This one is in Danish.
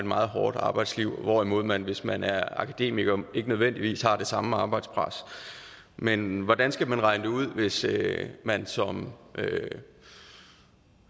meget hårdt arbejdsliv hvorimod man hvis man er akademiker ikke nødvendigvis har det samme arbejdspres men hvordan skal man regne det ud hvis man som